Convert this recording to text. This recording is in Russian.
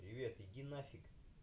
привет иди нафиг